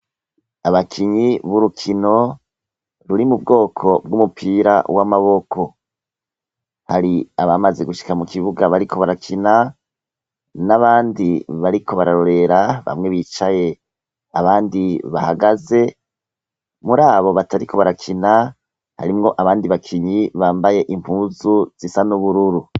Abakinyi b'urukino ruri mu bwoko bw'umupira w'amaboko hari abamaze gushika mu kibuga bariko barakina n'abandi bariko bararorera bamwe bicaye abandi bahagaze muri abo batariko barakina harimwo abandi bakinyi nyi bambaye impuzu zisa n'ubururu.